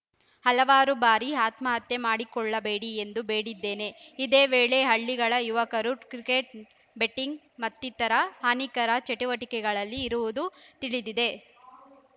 ಹಲವಾರು ಬಾರಿ ಆತ್ಮಹತ್ಯೆ ಮಾಡಿಕೊಳ್ಳಬೇಡಿ ಎಂದು ಬೇಡಿದ್ದೇನೆ ಇದೇ ವೇಳೆ ಹಳ್ಳಿಗಳ ಯುವಕರು ಕ್ರಿಕೆಟ್‌ ಬೆಟ್ಟಿಂಗ್‌ ಮತ್ತಿತರ ಹಾನಿಕಾಕರ ಚಟುವಟಿಕೆಗಳಲ್ಲಿ ಇರುವುದು ತಿಳಿದಿದೆ